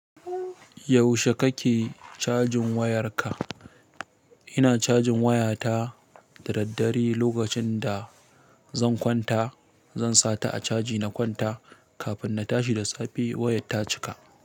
Yaushe kake cajin wayarka? Ina cajin wayata da daddare lokacin da zan kwanta. Zan sa ta a caji na kwanta kafin na tashi da safe wayat ta cika.